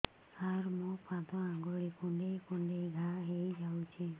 ସାର ମୋ ପାଦ ଆଙ୍ଗୁଳି କୁଣ୍ଡେଇ କୁଣ୍ଡେଇ ଘା ହେଇଯାଇଛି